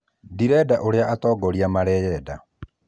Ndirenda ũrĩa atongoria mareyenda